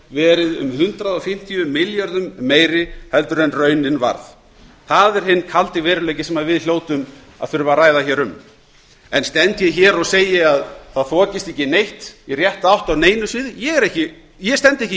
verið um hundrað fimmtíu milljörðum meiri heldur en raunin varð það er hinn kaldi veruleiki sem við hljótum að þurfa að ræða um enn stend ég hér og segi að það þokist ekki neitt í rétta átt á neinu sviði ég stend ekki